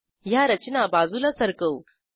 ह्या रचना बाजूला सरकवू